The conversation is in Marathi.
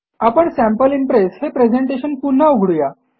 आपण सॅम्पल इम्प्रेस हे प्रेझेटेशन पुन्हा उघडू या